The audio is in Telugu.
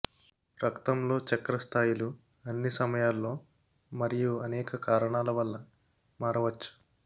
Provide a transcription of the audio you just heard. రక్తంలో చక్కెర స్థాయిలు అన్ని సమయాల్లో మరియు అనేక కారణాల వల్ల మారవచ్చు